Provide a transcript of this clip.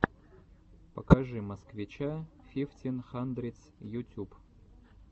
покажи москвича фифтин хандридс ютюб